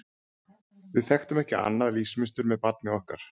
Við þekktum ekki annað lífsmunstur með barni okkar.